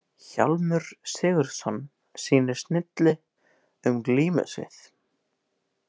Hjálmur Sigurðsson sýnir snilli um glímusvið.